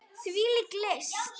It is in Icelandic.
Hvílík list!